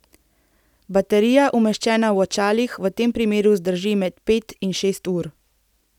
Baterija umeščena v očalih v tem primeru zdrži med pet in šest ur.